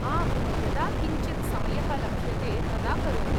आम्, यदा किञ्चित् समयः लभ्यते तदा करोमि।